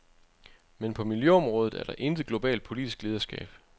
Men på miljøområdet er der intet globalt politisk lederskab.